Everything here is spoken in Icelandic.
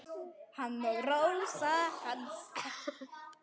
Hann og Rósa hans.